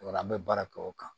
O la an bɛ baara kɛ o kan